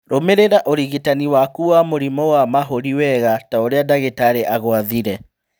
Rũmĩrĩra ũrigitani waku wa mũrimũ wa mahũri, wega ta ũrĩa ndagĩtarĩ agwathĩire